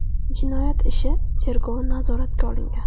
Jinoyat ishi tergovi nazoratga olingan.